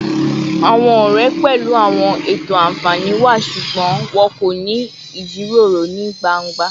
Awọn ọrẹ pẹlu awọn eto anfani wa ṣugbọn wọn ko ni ijiroro ni gbangba